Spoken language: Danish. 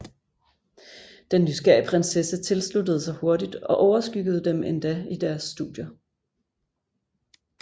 Den nysgerrige prinsesse tilsluttede sig hurtigt og overskyggede dem endda i deres studier